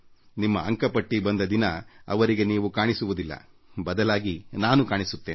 ನಿಮ್ಮ ಅಂಕ ಪಟ್ಟಿ ಬಂದ ದಿನ ಅವರಿಗೆ ನೀವು ಕಾಣಿಸುವುದಿಲ್ಲ ಬದಲಾಗಿ ನಾನು ಕಾಣಿಸುತ್ತೇನೆ